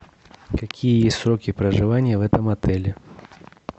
какие сроки проживания в этом отеле